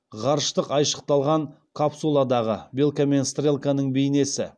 ғарыштық айшықталған капсуладағы белка мен стрелканың бейнесі